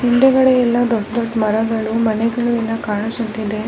ಮುಂದೆಗಡೆ ಎಲ್ಲ ದೊಡ್ಡ್ ದೊಡ್ಡ್ ಮರಗಳು ಮನೆಗಳು ಎಲ್ಲ ಕಾಣಿಸುತ್ತಿದೆ .